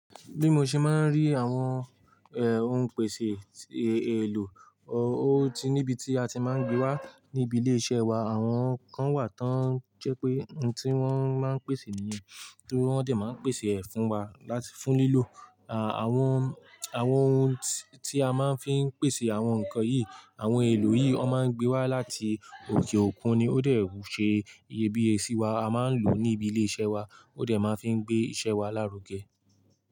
Bí mo ṣe máa ń rí àwọn, eh, ohun pèsè, e, èlò, o, ó ti níbi tí a ti máa ń gbé wá níbi ilé iṣẹ́ wa. Àwọn kan wà tí wọ́n jẹ́ pé ohun tí wọ́n máa ń pèsè nìyẹn, tí wọ́n dẹ̀ máa ń pèsè ẹ fún wa láti fún lílò. À, àwọn, àwọn ohun tí a máa ń fi ń pèsè àwọn nǹkan yìí, àwọn oun èlò yìí, wọ́n máa ń gbé wá láti òkè òkun ni ó dẹ̀ ṣe iyebíyẹ sí i wa, a máa ń lò ó níbi ilé iṣẹ́ wa, ó dẹ̀ máa ń fi ń gbé iṣẹ́ wa lárugẹ.